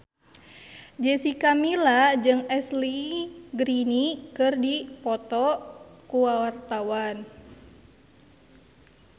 Jessica Milla jeung Ashley Greene keur dipoto ku wartawan